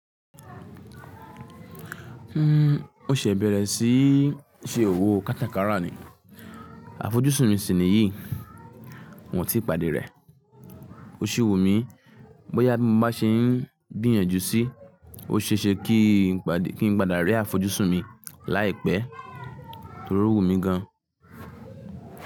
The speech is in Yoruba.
O ṣẹ bẹ̀rẹ̀ síí ṣe òwò kátàkárà ni. Àfojúsùn mi sì ní yìí, wọ́n ti pàdé rẹ̀. O si wù mí bóyá tí mo ba ṣe ń gbìyànjú sí, o ṣe é ṣe kí n padà rí àfojúsùn mi láìpẹ́ torí ó wù mí gan.